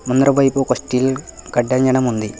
ముందర వైపు ఒక స్టీల్ కట్టంజనం ఉంది.